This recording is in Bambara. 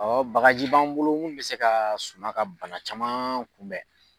Ɔ bagaji b'an bolo mun bɛ se ka suma ka bana caman kun bɛn.